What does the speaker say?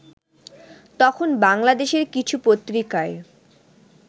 তখন বাংলাদেশের কিছু পত্রিকায়